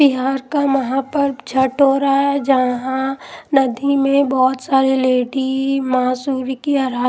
बिहार का महापर्व झट हो रहा है जहां नदी में बहुत सारी लेडी मांसूरी की आ--